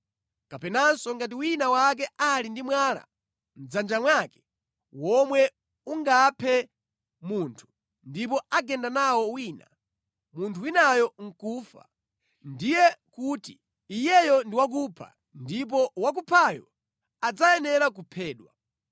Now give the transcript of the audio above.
Kapenanso ngati wina wake ali ndi mwala mʼdzanja mwake womwe ungaphe munthu, ndipo agenda nawo wina, munthu winayo nʼkufa, ndiye kuti iyeyo ndi wakupha ndipo wakuphayo adzayenera kuphedwa.